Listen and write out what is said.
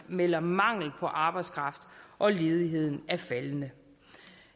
melder om mangel på arbejdskraft og ledigheden er faldende